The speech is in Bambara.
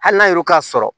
Hali n'a y'o k'a sɔrɔ